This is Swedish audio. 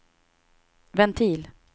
ventil